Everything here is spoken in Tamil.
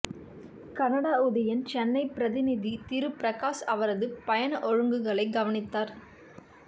கனடா உதயன் சென்னைப் பிரதிநிதி திரு பிரகாஸ் அவரது பயண ஒழுங்குகளை கவனித்தார்